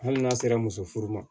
Hali n'a sera muso furu ma